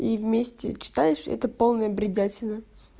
и вместе читаешь это полная бредятина